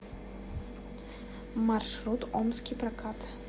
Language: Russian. маршрут омский прокат